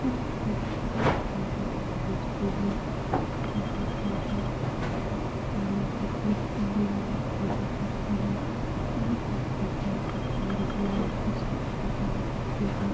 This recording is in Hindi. यहाँ एक बहुत सारे मंदिर हैं एक जगह पर हैं जगह पर से पानी गिर कर मंदिर में पूजा करते हैं यहाँ पर पीपल का पेड़ भी है उसमें ये जल देते है।